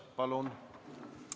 Palun!